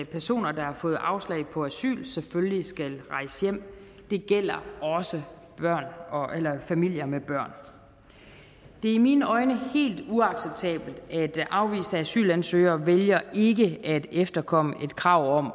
personer der har fået afslag på asyl selvfølgelig skal rejse hjem det gælder også familier med børn det er i mine øjne helt uacceptabelt at afviste asylansøgere vælger ikke at efterkomme et krav om at